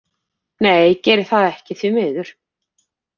Nei geri það ekki því miður.